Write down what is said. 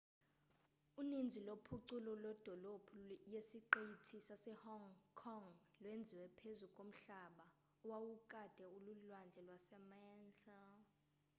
uninzi lophuculo lwedolophu yesiqithi sasehong kong lwenziwe phezu komhlaba owawukade ulilwandle lwasemantla